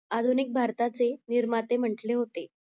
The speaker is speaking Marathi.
आधुनिक भारताचे निर्माते म्हंटले होते